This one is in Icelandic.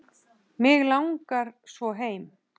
Mig langar svo heim.